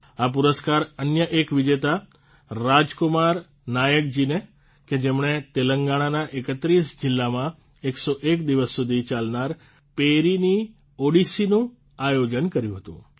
આ પુરસ્કાર અન્ય એક વિજેતા રાજકુમાર નાયકજીને કે જેમણે તેલંગણાના ૩૧ જીલ્લામાં ૧૦૧ દિવસ સુધી ચાલનાર પેરિની ઓડીસીનું આયોજન કર્યુ હતું